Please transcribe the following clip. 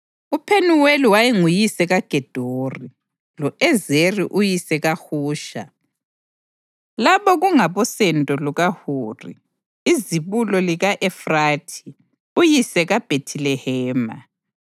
UPhenuweli wayenguyise kaGedori, lo-Ezeri uyise kaHusha. Laba kungabosendo lukaHuri, izibulo lika-Efrathi uyise kaBhethilehema.